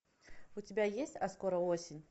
у тебя есть а скоро осень